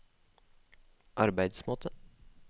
arbeidsmåte